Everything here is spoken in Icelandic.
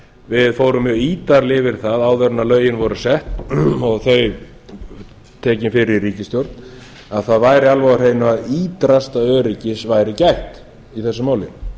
við fórum mjög ítarlega yfir það áður en lögin voru sett og þau tekin fyrir í ríkisstjórn að það væri alveg á hreinu að ýtrasta öryggis væri gætt í þessu máli